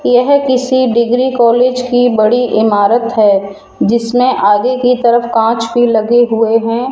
यह किसी degree college की बड़ी इमारत है जिसमें आगे की तरफ कांच भी लगे हुए हैं।